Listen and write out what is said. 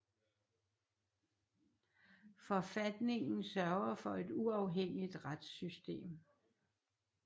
Forfatningen sørger for et uafhængigt retssystem